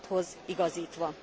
századhoz igazítva.